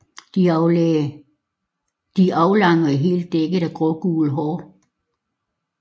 De er aflange og helt dækket af grågule hår